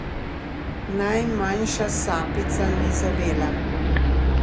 Najmanjša sapica ni zavela.